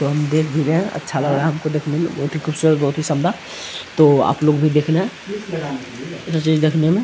तो हम देख भी रहे है अच्छा लग रहा है हमको देखने में बहुत ही खूबसूरत बहुत ही शानदार तो आप लोग भी देखना जो चीज देखने में --